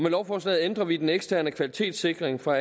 lovforslaget ændrer vi den eksterne kvalitetssikring for